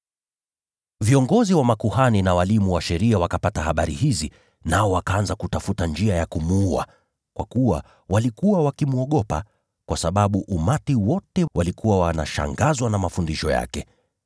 Viongozi wa makuhani na walimu wa sheria wakapata habari hizi, nao wakaanza kutafuta njia ya kumuua, kwa kuwa walikuwa wakimwogopa, kwa sababu umati wote ulikuwa unashangazwa na mafundisho yake.